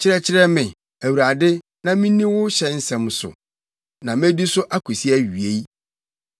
Kyerɛkyerɛ me, Awurade, na minni wo hyɛ nsɛm so, na medi so akosi awiei.